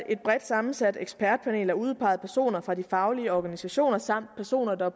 et bredt sammensat ekspertpanel af udpegede personer fra de faglige organisationer samt personer der